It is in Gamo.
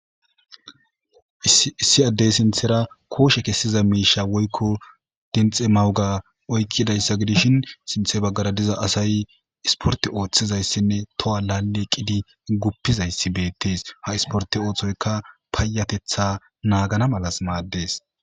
issi addey sinthera kooshe kessiza miisha woykko dinxe mawuga oykkidayssa gidishin sinthe baggara diza asay isporti ooththizayssinne toha laale qidi guppizayssi beettees ha isporti ooththoyka paayatetha naagana malas maaddees